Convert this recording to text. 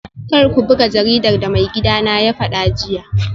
Kar ku buga jaridar da maigidana ya fada jiya